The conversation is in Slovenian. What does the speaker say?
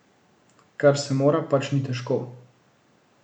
Kar se mora, pač ni težko.